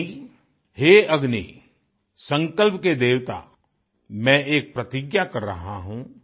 यानी हे अग्नि संकल्प के देवता मैं एक प्रतिज्ञा कर रहा हूँ